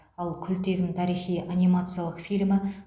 ал күлтегін тарихи анимациялық фильмі